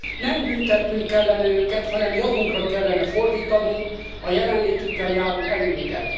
Nem büntetnünk kellene őket, hanem javunkra kellene fordítanunk a jelenlétükkel járó előnyöket.